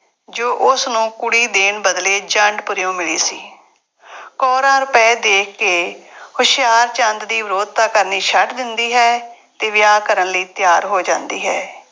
ਜੋ ਉਸਨੂੰ ਕੁੜੀ ਦੇਣ ਬਦਲੇ ਜੰਡਪੁਰਿਉਂ ਮਿਲੀ ਸੀ। ਕੌਰਾਂ ਰੁਪਏ ਦੇਖ ਕੇ ਹੁਸ਼ਿਆਰਚੰਦ ਦੀ ਵਿਰੋਧਤਾ ਕਰਨੀ ਛੱਡ ਦਿੰਦੀ ਹੈ ਅਤੇ ਵਿਆਹ ਕਰਨ ਲਈ ਤਿਆਰ ਹੋ ਜਾਂਦੀ ਹੈ।